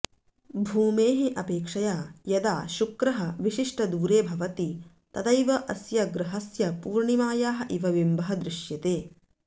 भूमेः अपेक्षया यदा शुक्रः विशिष्टदूरे भवति तदैव अस्य ग्रहस्य पूर्णिमायाः इव बिम्बः दृश्यते